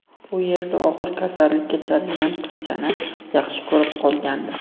U yerda og‘ir kasallika chalingan qizchani yaxshi ko‘rib qolgandi.